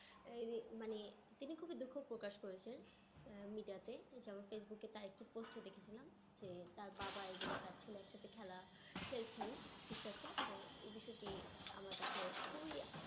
আহ মানে তিনি খুবই দুঃখ প্রকাশ করেছেন আহ media তে যেমন ফেসবুকে তার একটি post এ দেখেছিলাম যে তার বাবা এবং তার ছেলে একসাথে খেলা খেলছেন কিছু একটা তো এই বিষয়টি আমার কাছে খুবিই